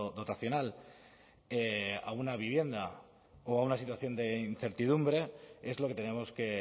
dotacional a una vivienda o a una situación de incertidumbre es lo que tenemos que